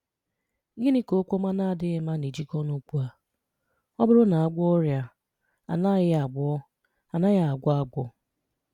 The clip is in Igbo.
Gịnị́ ka okwu ọma na-adịghị mma na-ejikọta na okwu a: Ọ bụrụ́ na a gwọọ́ ọrịa, a anaghị́ agwọ́ anaghị́ agwọ́ agwọ́?